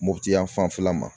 Mɔpti yan fan fɛla ma.